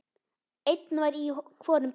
Einn var í hvorum bíl.